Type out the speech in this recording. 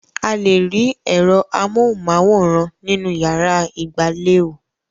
A lè rí ẹ̀rọ amóhùmáwòhán nínú ìyàrá ìgbàlè ò.